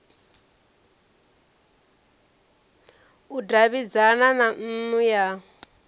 u davhidzana na nnu ya